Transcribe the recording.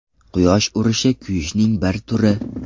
Quyosh urishi kuyishning bir turi.